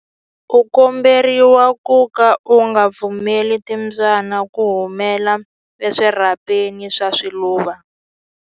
U komberiwa ku ka u nga pfumeleli timbyana ku humela eswirhapeni swa swiluva.